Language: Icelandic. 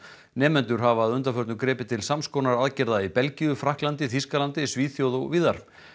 nemendur hafa að undanförnu gripið til sams konar aðgerða í Belgíu Frakklandi Þýskalandi Svíþjóð og víðar